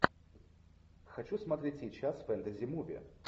хочу смотреть сейчас фэнтези муви